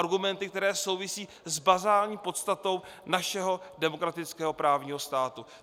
Argumenty, které souvisí s bazální podstatou našeho demokratického právního státu.